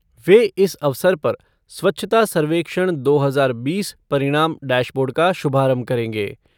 वे इस अवसर पर स्वच्छता सर्वेक्षण दो हजार बीस परिणाम डैशबोर्ड का शुभारंभ करेंगे।